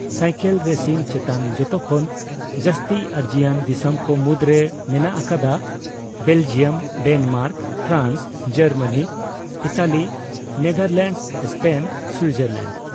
Cycle ᱨᱮᱥᱤᱝᱼᱪᱮᱛᱟᱱ ᱡᱚᱛᱚ ᱠᱷᱚᱱ ᱡᱟᱥᱛᱤ ᱟᱹᱨᱡᱤᱭᱟᱱ ᱫᱤᱥᱚᱢᱠᱚ ᱢᱩᱫᱽᱨᱮ ᱢᱮᱱᱟᱜ ᱟᱠᱟᱫᱟ Belgium, Denmark, France, Germany, Italy, Netherlands, Spain Switzerland.